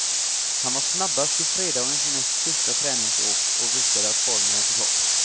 Han var snabbast i fredagens näst sista träningsåk och visade att formen är på topp.